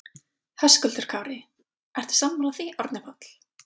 Höskuldur Kári: Ertu sammála því Árni Páll?